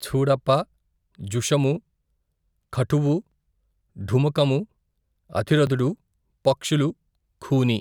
ఛూడప్పా, ఝుషము, ఖఠువు ఢుమకము, అతిరథుడు, పక్షులు, ఖూని.